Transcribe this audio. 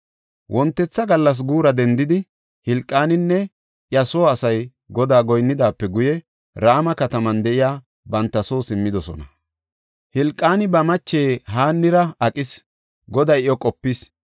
Wontetha gallas guura dendidi, Hilqaaninne iya soo asay Godaa goynidaape guye, Rama kataman de7iya banta soo simmidosona. Hilqaani ba mache Haannira aqis; Goday iyo qopis.